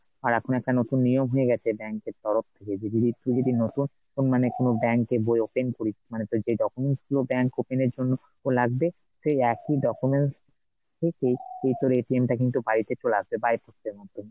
আর এখন একটা নতুন নিয়ম হয়ে গেছে bank এর তরফ থেকে, যে তুই যদি নতুন তো মানে কোনো bank এর বই open করিস মানে তো যেই documents গুলো bank open এর জন্য লাগবে সেই একই documents থেকেই সেই তোর টা কিন্তু বাড়িতে চলে আসবে ,